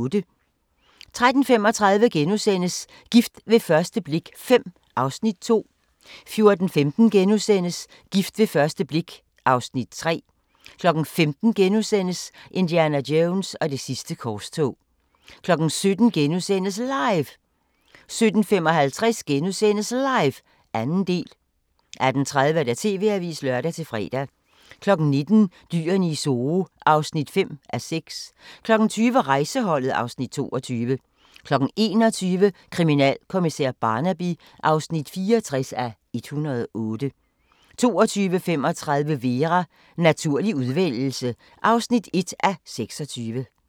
13:35: Gift ved første blik V (Afs. 2)* 14:15: Gift ved første blik V (Afs. 3)* 15:00: Indiana Jones og det sidste korstog * 17:00: LIVE * 17:55: LIVE – 2. del * 18:30: TV-avisen (lør-fre) 19:00: Dyrene i Zoo (5:6) 20:00: Rejseholdet (Afs. 22) 21:00: Kriminalkommissær Barnaby (64:108) 22:35: Vera: Naturlig udvælgelse (1:26)